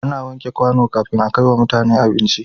Ana wanke kwano kafin a kaiwa mutane abinci